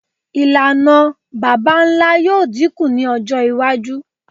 Ilana baba-nla yoo dinku ni ọjọ iwaju